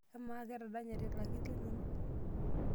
Amaa ketadanyate ilakir linonok?